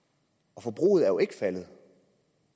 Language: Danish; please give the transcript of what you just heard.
og forbruget er jo ikke faldet